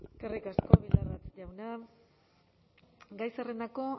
eskerrik asko bildarratz jauna gai zerrendako